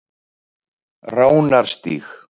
Ránarstíg